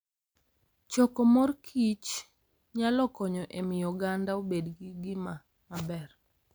Choko mor kich nyalo konyo e miyo oganda obed gi ngima maber.